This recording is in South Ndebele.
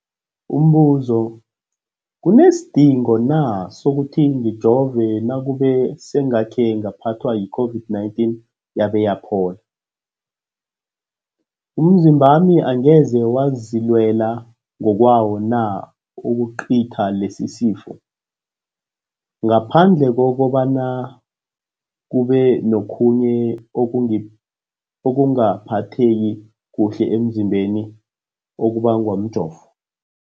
Umbuzo, kunesidingo na sokuthi ngijove nakube sengakhe ngaphathwa yi-COVID-19 yabe yaphola? Umzimbami angeze wazilwela ngokwawo na ukucitha lesisifo, ngaphandle kobana kube nokhunye ukungaphatheki kuhle emzimbeni okubangwa mjovo?